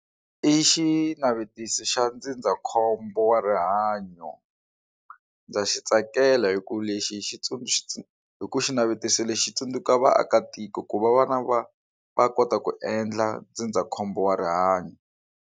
I xinavetiso xa ndzindzakhombo wa rihanyo ndza xi tsakela hi ku lexi xitsundzuxo hi ku xinavetiso lexi tsundzuka vaakatiko ku va vana va va kota ku endla ndzindzakhombo wa rihanyo.